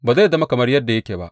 Ba zai zama kamar yadda yake ba.